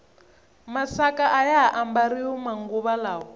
masaka ayaha ambariwa manguva lawa